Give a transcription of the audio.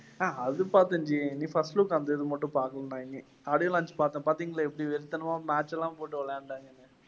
ஆஹ் அது பாத்தேன் ஜி. first மட்டும் பாக்கணும்னாங்க. audio launch பார்த்தேன். பாத்தீங்களா எப்படி வெறித்தனமா match எல்லாம் போட்டு